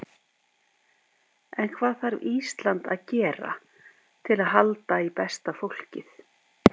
En hvað þarf Ísland að gera til að halda í besta fólkið?